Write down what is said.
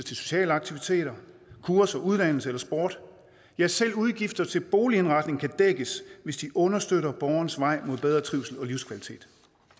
sociale aktiviteter ture til udlandet eller sport ja selv udgifter til boligindretning kan dækkes hvis de understøtter borgerens vej mod bedre trivsel og livskvalitet